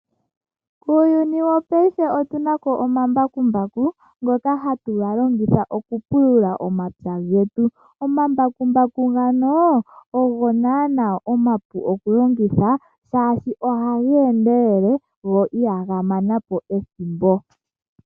Muuyuni wopaife otuna omambakumbaku, ngoka hatu longitha okupulula omapya getu. Omambakumbaku ngoka ogo naanaa omapu okulongithwa, shaashi ohaga endelele, go ihaga manapo ethimbo.